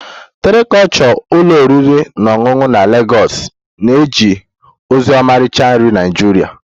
Terra kulture ụlọ oriri na ọṅụṅụ na Lagos na-eje ozi ọmarịcha nri Naịjirịa